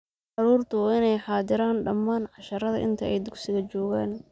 Carruurtu waa inay xaadiran dhammaan casharrada inta ay dugsiga joogaan.